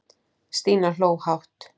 Stína hló hátt.